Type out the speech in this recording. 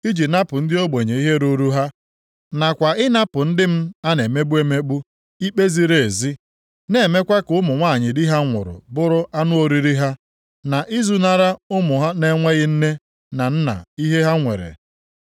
iji napụ ndị ogbenye ihe ruru ha nakwa ịnapụ ndị m a na-emegbu emegbu ikpe ziri ezi, na-emekwa ka ụmụ nwanyị di ha nwụrụ bụrụ anụ oriri ha na izunara ụmụ na-enweghị nne na nna ihe ha nwere.